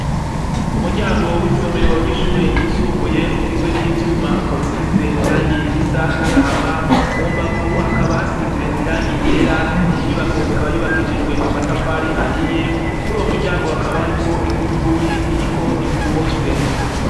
Umuryango w'isomero ry'ishure ryisumbuye ugizwe n'ivyuma ukabusize irangiye risa n'agahama mu mbavu hakaba hasize irangie igera inyubako ikaba yubakishijwe amatafari ahiye kuri uwo muryango hakaba hariko igufuri iriko ifunze.